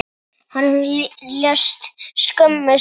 Hann lést skömmu seinna.